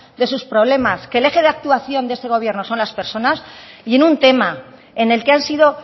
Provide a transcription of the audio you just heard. de sus problemas que el eje de actuación de este gobierno son las personas y en un tema en el que han sido